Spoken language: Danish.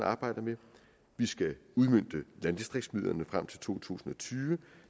arbejder med vi skal udmønte landdistriktsmidlerne frem til to tusind og tyve